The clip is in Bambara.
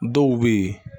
Dɔw bɛ yen